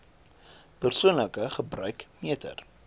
persoonlike gebruik meter